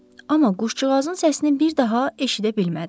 Amma quşcuğazın səsini bir daha eşidə bilmədi.